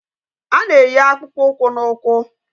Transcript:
A na-eyi akpụkpọ ụkwụ n'ụkwụ